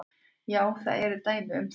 Já, það eru dæmi um það.